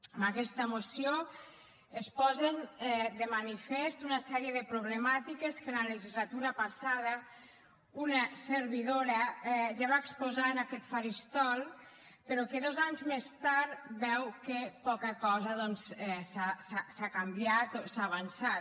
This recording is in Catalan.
amb aquesta moció es posen de manifest una sèrie de problemàtiques que en la legislatura passada una servidora ja va exposar en aquest faristol però que dos anys més tard veu que poca cosa doncs s’ha canviat o s’ha avançat